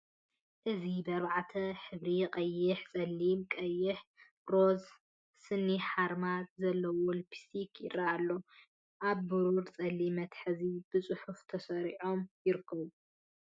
እዚ ብኣርባዕተ ሕብሪ፡ ቀይሕ፡ ጸሊም ቀይሕ፡ ሮዛን ስኒ ሓርማዝን ዘለዎም ልፕስቲክ ይራኣዩ ኣለው። ኣብ ብሩርን ጸሊምን መትሓዚታት ብጽፉፍ ተሰሪዖም ይርከቡ።